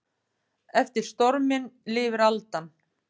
Eftir storminn lifir aldan.